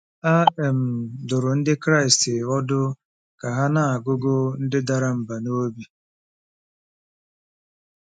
A um dụrụ Ndị Kraịst ọdụ ka ha “na-agụgụ ndị dara mbà n’obi.”